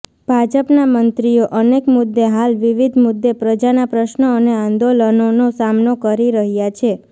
ભાજપના મંત્રીઓ અનેક મુદ્દે હાલ વિવિધ મુદ્દે પ્રજાના પ્રશ્નો અને આંદોલનોનો સામનો કરી રહ્યા છે